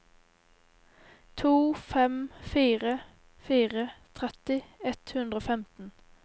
to fem fire fire tretti ett hundre og femten